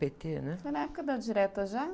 pê-tê, né?oi na época das direta já?